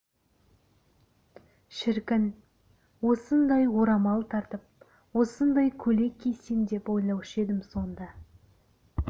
шіркін осындай орамал тартып осындай көйлек кисем деп ойлаушы едім сонда